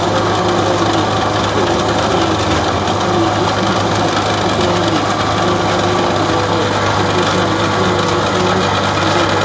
ఆహ్లాదకరంగా ఉంది మంచిగా ఉంది --